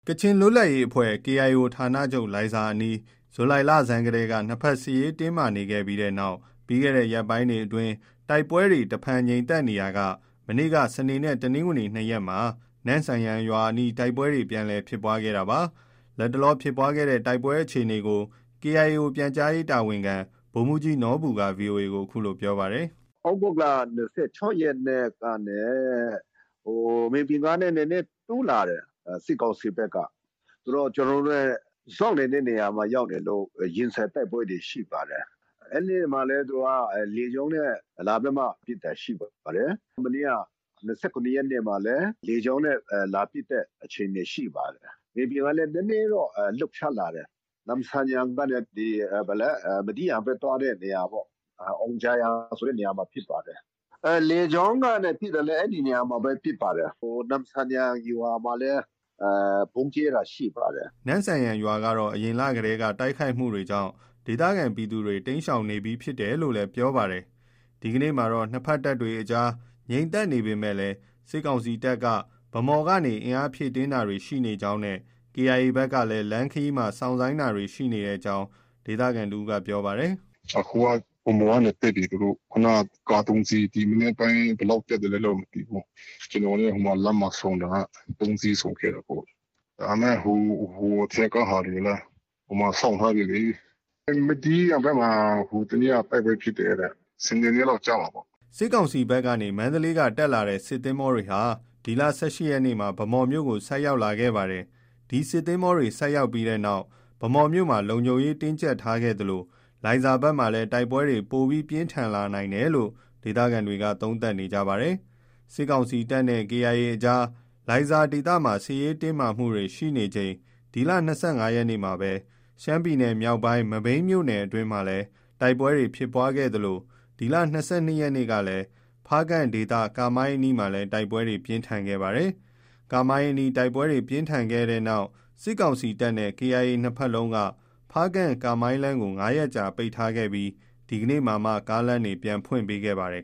ကချင်လွတ်လပ်ရေးအဖွဲ့ KIO ဌာနချုပ် လိုင်ဇာအနီးမှာ ဇူလိုင်လဆန်းကတည်းက နှစ်ဘက် စစ်ရေး တင်းမာနေခဲ့ပြီးတဲ့နောက် ပြီးခဲ့တဲ့ ရက်ပိုင်းတွေအတွင်း တိုက်ပွဲတွေ တဖန် ငြိမ်သက်နေရာက မနေ့က တနင်္ဂနွေနဲ့ စနေ နှစ်ရက်မှာ နမ့်ဆန်ယန်ရွာအနီး တိုက်ပွဲတွေ ပြန်လည် ဖြစ်ပွားခဲ့တာပါ။ လတ်တလော ဖြစ်ပွားတဲ့ တိုက်ပွဲ အခြေအနေကို KIO ပြန်ကြားရေးတာဝန်ခံ ဗိုလ်မှုးကြီးနော်ဘူက VOA ကို အခုလို ပြောပါတယ်။ “ သြဂုတ်လ ၂၆ ရက်နေ့ကနေ မြေပြင်ကနေ နည်းနည်း တိုးလာတယ်။ စစ်ကောင်စီဘက်က။ ဆိုတော့ ကျနော်တို့နဲ့ စောင့်နေတဲ့ နေရာမှာ ရောက်နေလို့ ရင်ဆိုင်တိုက်ပွဲတွေ ရှိပါတယ်။ အဲဒီနေ့မှာပဲ လေကြောင်းနဲ့ လာပြီးမှ ပစ်တာရှိပါတယ်။ မနေ့က ၂၇ ရက်နေ့မှာလည်း လေကြောင်းနဲ့ လာပစ်တဲ့ အခြေအနေ ရှိပါတယ်။ မြေပြင်ကလည်း နည်းနည်းတော့ လှုပ်ရှားလာတယ်။ နမ့်ဆန်ယန်ကနေ မဒီးယန်ဘက် သွားတဲ့နေရာပေါ့။ အောင်ဂျာယန် ဆိုတဲ့နေရာမှာ ဖြစ်ပါတယ်။ လေကြောင်းကနေ ပစ်တာလည်း အဲဒီနေရာမှာပဲ ဖြစ်ပါတယ်။ နမ့်ဆန်ယန် ရွာမှာလည်း ဗုံးကြဲတာရှိပါတယ်။” နမ့်ဆန်ယန်ရွာကတော့ အရင်လ ကတည်းက တိုက်ခိုက်မှုတွေကြောင့် ဒေသခံပြည်သူတွေ တိမ်းရှောင်နေပြီး ဖြစ်တယ်လို့လည်း ပြောပါတယ်။ ဒီကနေ့မှာတော့ နှစ်ဘက်တပ်တွေအကြား ငြိမ်သက်နေပေမဲ့ စစ်ကောင်စီတပ်က ဗန်းမော်ဘက်ကနေ အင်အားဖြည့်တင်းတာတွေ ရှိနေကြောင်းနဲ့ KIA ဘက်ကလည်း လမ်းခရီးမှာ စောင့်ဆိုင်းနေတာတွေ ရှိကြောင်း ဒေသခံတစ်ဦးက ပြောပါတယ်။ “အခုက ဗန်းမော်ကနေ တက်ပြီ သူတို့။ ခုနက ကား ၃ စီး။ ဒီမနက်ပိုင်း ဘယ်လောက် တက်သလဲတော့ မသိဘူး။ ကျနော်နဲ့ လမ်းမှာ ဆုံတာက ၃ စီး ဆုံခဲ့တာပေါ့။ ဒါပေမဲ့ ဟိုအထက်က ဟာတွေကလည်း ဟိုမှာ စောင့်ထားပြီလေ။ မဒီးယန် ဘက်မှာလည်း တိုက်ပွဲဖြစ်တယ်တဲ့။ စနေနေ့လောက် ကျမှာပေါ့။” စစ်ကောင်စီဘက်က မန္တလေးကနေ တက်လာတဲ့ စစ်သင်္ဘောတွေဟာ ဒီလ ၁၈ ရက်နေ့က ဗန်းမော်မြို့ကို ဆိုက်ရောက်ခဲ့ပါတယ်။ ဒီစစ်သင်္ဘောတွေ ဆိုက်ရောက်ပြီးနောက်မှာ ဗန်းမော်မြို့မှာ လုံခြုံရေး တင်းကျပ်ခဲ့သလို လိုင်ဇာဘက်မှာလည်း တိုက်ပွဲတွေ ပိုမို ပြင်းထန်လာနိုင်တယ်လို့ ဒေသခံတွေက သုံးသပ်နေကြပါတယ်။ စစ်ကောင်စီတပ်နဲ့ KIA အကြား လိုင်ဇာဒေသမှာ စစ်ရေးတင်းမာမှုတွေ ရှိနေချိန်၊ ဒီလ ၂၅ ရက်နေ့မှာပဲ ရှမ်းပြည်နယ်မြောက်ပိုင်း မဘိမ်း မြို့နယ်အတွင်းမှာလည်း တိုက်ပွဲ ဖြစ်ပွားခဲ့သလို၊ ဒီလ ၂၂ ရက်နေ့ကလည်း ဖားကန့်ဒေသ ကာမိုင်းအနီးမှာ တိုက်ပွဲတွေ ပြင်းထန်ခဲ့ပါတယ်။ ကာမိုင်းအနီး တိုက်ပွဲ ပြင်းထန်ခဲ့တဲ့နောက် စစ်ကောင်စီတပ် နဲ့ KIA နှစ်ဘက်လုံးက ဖားကန့်- ကာမိုင်းလမ်းကို ၅ ရက်ကြာ ပိတ်ထားခဲ့ပြီး ဒီကနေ့မှာမှ ကားလမ်းတွေ ပြန်ဖွင့်ပေးခဲ့ပါတယ်